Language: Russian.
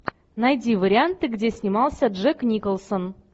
найди варианты где снимался джек николсон